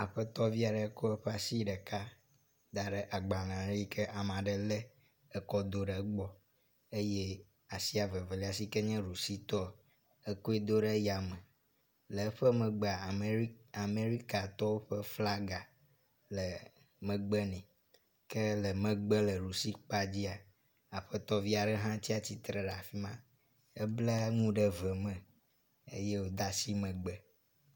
Aƒetɔ vi aɖe ko eƒe asi ɖeka da ɖe agbale yi kea me aɖe le ekɔ do ɖe egbɔ eye asia veveli si ke nye ɖusitɔ ekoe do ɖe yame. Le eƒe megbea Ameri Amerikatɔwo ƒe flaga le megbe nɛ. Ke le megbe le ɖusi kpadzia aƒetɔvi aɖe hã tsiatre ɖe afima helbe nu ɖe ve me eye wode asi megbe.